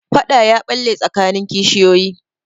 Faɗa ya ɓalle tsakanin kishiyoyi.